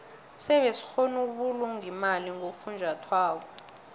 sebe sikgona ukubulunga imali ngofunjathwako